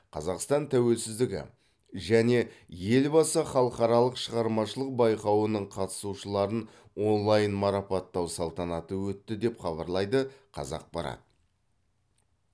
қазақстан тәуелсіздігі және елбасы халықаралық шығармашылық байқауының қатысушыларын онлайн марапаттау салтанаты өтті деп хабарлайды қазақпарат